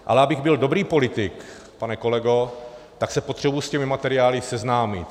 Ale abych byl dobrý politik, pane kolego, tak se potřebuji s těmi materiály seznámit.